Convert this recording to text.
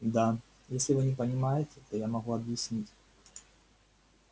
да если вы не понимаете то я могу объяснить